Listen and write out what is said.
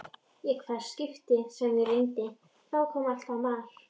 Í hvert skipti sem ég reyndi, þá kom alltaf mar